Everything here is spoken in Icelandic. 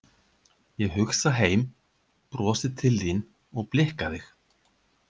Ég hugsa heim, brosi til þín og blikka þig.